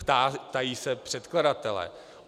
Ptají se předkladatelé.